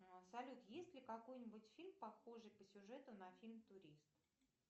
салют есть ли какой нибудь фильм похожий по сюжету на фильм турист